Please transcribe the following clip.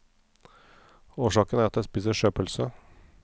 Årsaken er at jeg spiser sjøpølse.